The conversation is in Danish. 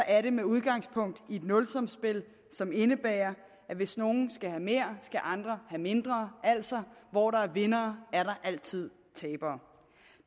er det med udgangspunkt i et nulsumsspil som indebærer at hvis nogle skal have mere skal andre have mindre altså hvor der er vindere er der altid tabere